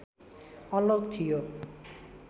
अलग थियो